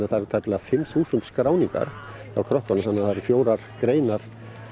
það eru tæplega fimm þúsund skráningar hjá krökkunum fjórar greinar